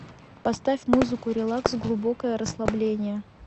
поставь музыку релакс глубокое расслабление